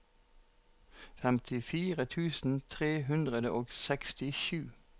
femtifire tusen tre hundre og sekstisju